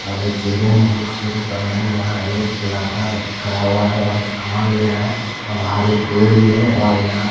और children books की दुकान है यहा एक लड़का खड़ा हुआ है और सामान ले रहा है और बाहर एक पेड़ भी है और यहा--